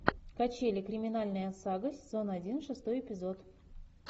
качели криминальная сага сезон один шестой эпизод